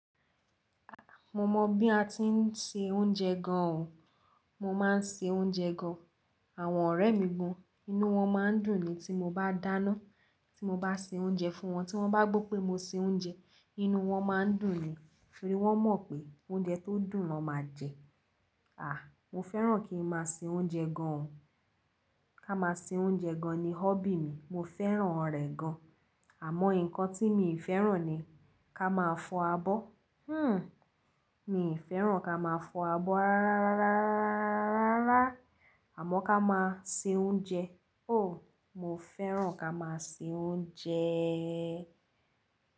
A, mo mọ bí a tí ń se oúnjẹ gan o. Mo máa ń se oúnjẹ gan. Àwọn ọ̀rẹ́ mi gan, inú wọn máa ń dùn ni tí mo bá dáná. Tí mo bá se oúnjẹ fún wọn, tí wọ́n bá gbọ pé mo se oúnjẹ, inú wọ́n máa ń dùn ni. Nítorí wọ́n mọ̀ pé oúnjẹ tó dùn ni wọ́n máa jẹ. À, mo fẹ́ràn kí n máa se oúnjẹ gan. Ká máa se oúnjẹ gan ni hobby mi. Mo fẹ́ràn rẹ̀ gan. Àmọ́ nǹkan tí mi ì fẹ́ràn ni kí a máa fọ abọ́. Hmm! Mi ì fẹ́ràn kí a máa fọ abọ́ rárárárárárárá. Àmọ́ ká máa se oúnjẹ. Oh! Mo fẹ́ràn kí a máa se oúnjẹẹẹẹ.